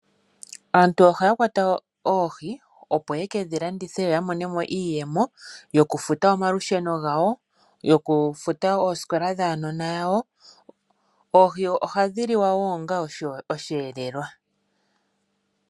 Aantu ohaya kwata oohi opo ye ke dhi landitha yo ya monemo iiyemo yo kufuta omalusheno gawo. Yokufuta oosikola dhuunona wawo. Oohi ohadhi liwa woo onga osheelelwa.